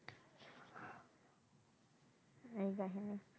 এই